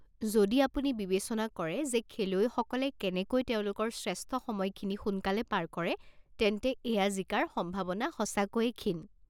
যদি আপুনি বিবেচনা কৰে যে খেলুৱৈসকলে কেনেকৈ তেওঁলোকৰ শ্ৰেষ্ঠ সময়খিনি সোনকালে পাৰ কৰে, তেন্তে এইয়া জিকাৰ সম্ভাৱনা সঁচাকৈয়ে ক্ষীণ।